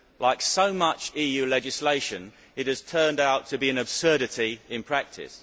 Like so much EU legislation, it has turned out to be an absurdity in practice.